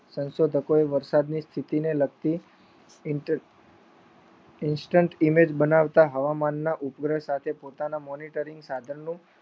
વરસાદની સ્થિતિને લગતી ઈન Instant image બનાવતા હવામાનના ઉગ્રતાથી પોતાના મોનીટરીંગ સાધનનું